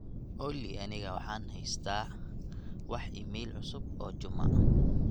olly aniga waxaan haystaa wax iimayl cusub oo juma